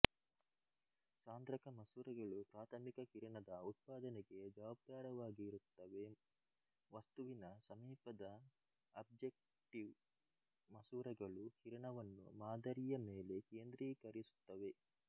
ಸಾಂದ್ರಕ ಮಸೂರಗಳು ಪ್ರಾಥಮಿಕ ಕಿರಣದ ಉತ್ಪಾದನೆಗೆ ಜವಾಬ್ದಾರವಾಗಿರುತ್ತವೆ ವಸ್ತುವಿನ ಸಮೀಪದಆಬ್ಜೆಕ್ಟಿವ್ ಮಸೂರಗಳು ಕಿರಣವನ್ನು ಮಾದರಿಯ ಮೇಲೆ ಕೇಂದ್ರೀಕರಿಸುತ್ತವೆ